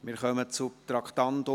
Wir kommen zum Traktandum 37.